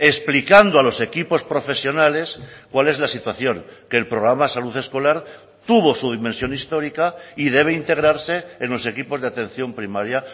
explicando a los equipos profesionales cuál es la situación que el programa de salud escolar tuvo su dimensión histórica y debe integrarse en los equipos de atención primaria